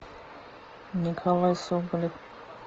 николай соболев